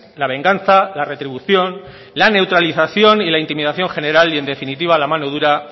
la venganza la retribución la neutralización y la intimidación general y en definitiva la mano dura